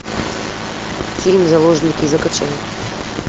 фильм заложники закачай